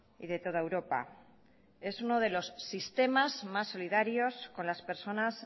y de toda europa es uno de los sistemas más solidarios con las personas